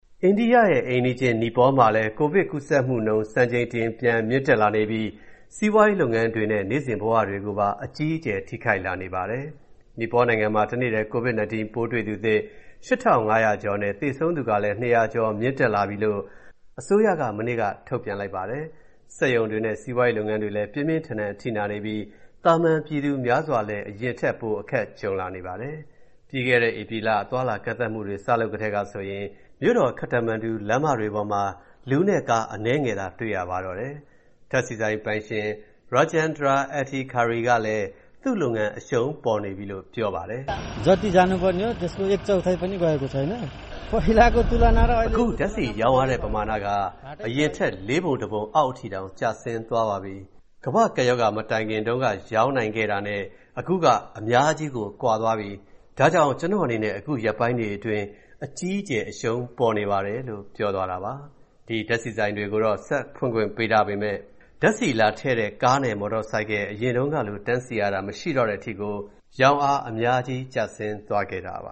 အိန္ဒိယအိမ်နီးချင်း နီပေါနိုင်ငံမှာလည်း ကိုဗစ်ကူးစက်မှုနှုန်း စံချိန်တင် ပြန်မြင့်တက်လာနေပြီး စီးပွားရေးလုပ်ငန်းတွေနဲ့ နေ့စဉ်ဘဝတွေကို အကြီးအကျယ် ထိခိုက်လာနေပါပြီ။ နီပေါနိုင်ငံမှာ တနေ့တည်း COVID-19 ပိုးတွေ့သူသစ် ၈,၅၀၀ ကျော်နဲ့ သေဆုံးသူလည်း ၂၀၀ ကျော် မြင့်တက်လာပြီလို့ အစိုးရ မနေ့က ထုတ်ပြန်လိုက်ပါတယ်။ စက်ရုံတွေနဲ့ စီးပွားရေးလုပ်ငန်းတွေလည်း ပြင်းပြင်းထန်ထန် အထိနာနေပြီး သာမန်ပြည်သူများစွာလည်း အရင်ထက်ပို အခက်ကြုံလာနေပါတယ်။ ပြီးခဲ့တဲ့ ဧပြီလ အသွားအလာ ကန့်သတ်မှုတွေ စလုပ်ကတည်းကဆိုရင် မြို့တော် ခတ္တမန်ဒူ လမ်းတွေပေါ်မှာ လူနဲ့ကား အနည်းငယ်သာ တွေ့ရပါတော့တယ်။ ဓာတ်ဆီဆိုင်ပိုင်ရှင် Rajendra Adhikari က သူ့လုပ်ငန်း အရှုံးပေါ်နေပြီလို့ ပြောပါတယ်။ “အခု ဓာတ်ဆီရောင်းရတဲ့ ပမာဏက အရင်ထက် လေးပုံတပုံအောက်အထိတောင် ကျဆင်းသွားပြီ။ ကမ္ဘာ့ကပ်ရောဂါ မတိုင်ခင်တုန်းက ရောင်းနိုင်ခဲ့တာနဲ့ အခုက အများကြီးကို ကွာသွားပြီ။ ဒါကြောင့် ကျနော့်အနေနဲ့ အခုရက်ပိုင်းတွေအတွင်း အကြီးအကျယ် အရှုံးပေါ်နေပါတယ်” လို့ ပြောသွားတာပါ။ ဒီဓာတ်ဆီဆိုင်တွေကိုတော့ ဆက်ဖွင့်ခွင့်ပေးထားပေမယ့် ဓာတ်ဆီလာထည့်တဲ့ ကားနဲ့ မော်တော်ဆိုင်ကယ် အရင်တုန်းကလို တန်းစီရတာ မရှိတော့တဲ့အထိကို ရောင်းအား အများကြီး ကျဆင်းသွားခဲ့တာပါ